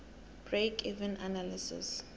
break even analysis